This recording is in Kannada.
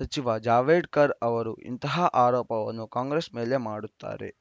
ಸಚಿವ ಜಾವಡೇಕರ್‌ ಅವರು ಇಂತಹ ಆರೋಪವನ್ನು ಕಾಂಗ್ರೆಸ್‌ ಮೇಲೆ ಮಾಡುತ್ತಾರೆ